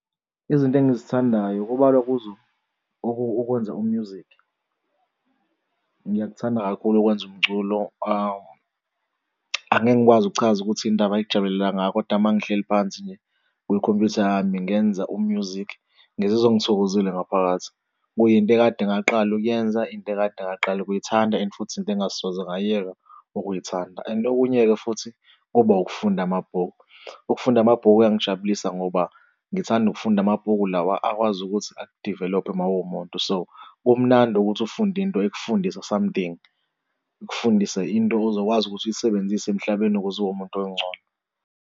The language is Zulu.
Izinto engizithandayo kubalwa kuzo ukwenza u-music. Ngiyakuthanda kakhulu ukwenza umculo angeke ngikwazi ukuchaza ukuthi yini indaba ngikujabulele kangaka kodwa uma ngihleli phansi nje kwikhompuyutha yami ngenza u-music ngizizwa ngithokozile ngaphakathi. Kuyinto ekade ngaqala ukuyenza into ekade ngaqala ukuyithanda and futhi into engingasoze ngayiyeka ukuyithanda. And okunye-ke futhi kuba ukufunda amabhuku, ukufunda amabhuku kuyangijabulisa ngoba ngithanda ukufunda amabhuku lawa akwazi ukuthi aku-develop-e mawuwumuntu so kumnandi ukuthi ufunde into ekufundisa something ikufundise, into ozokwazi ukuthi uyisebenzise emhlabeni ukuze ube umuntu ongcono.